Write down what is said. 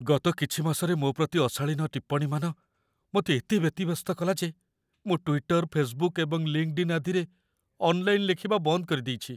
ଗତ କିଛି ମାସରେ ମୋ ପ୍ରତି ଅଶାଳୀନ ଟିପ୍ପଣୀମାନ ମୋତେ ଏତେ ବ୍ୟତିବ୍ୟସ୍ତ କଲା ଯେ ମୁଁ ଟ୍ୱିଟର, ଫେସବୁକ୍ ଏବଂ ଲିଙ୍କ୍‌ଡ-ଇନ୍ ଆଦିରେ ଅନଲାଇନ୍‌ ଲେଖିବା ବନ୍ଦ କରିଦେଇଛି।